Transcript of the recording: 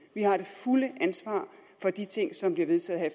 vi har det fulde ansvar for de ting som bliver vedtaget her